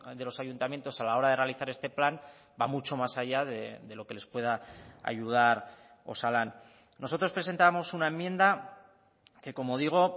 de los ayuntamientos a la hora de realizar este plan va mucho más allá de lo que les pueda ayudar osalan nosotros presentábamos una enmienda que como digo